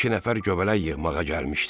İki nəfər göbələk yığmağa gəlmişdi.